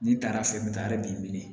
N'i taara fɛ n bɛ taa yɔrɔ min